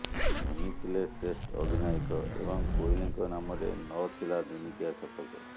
ଧୋନି ଥିଲେ ଟେଷ୍ଟ୍ ଅଧିନାୟକ ଏବଂ କୋହଲିଙ୍କ ନାମରେ ନ ଥିଲା ଦିନିକିଆ ଶତକ